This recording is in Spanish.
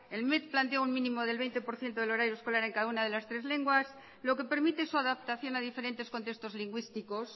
el mec plantea un mínimo del veinte por ciento del horario escolar en cada una de las tres lenguas lo que permite su adaptación a diferentes contextos lingüísticos